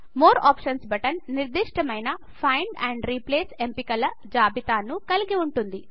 more options button నిర్దిష్టమైన find and replace ఎంపికల జాబితాను కలిగి వుంటుంది